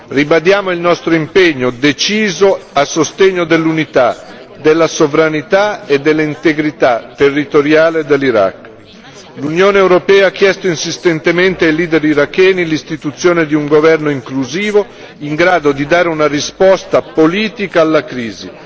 Ribadiamo il nostro impegno deciso a sostegno dell'unità, della sovranità e dell'integrità territoriale dell'Iraq. L'Unione europea ha chiesto insistentemente ai leader iracheni l'istituzione di un governo inclusivo in grado di dare una risposta politica alla crisi.